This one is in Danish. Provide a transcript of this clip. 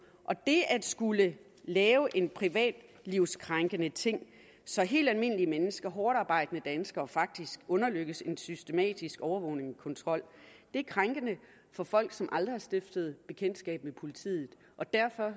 det at skulle lave en privatlivskrænkende ting så helt almindelige mennesker hårdtarbejdende danskere faktisk underlægges en systematisk overvågning og kontrol er krænkende for folk som aldrig har stiftet bekendtskab med politiet og derfor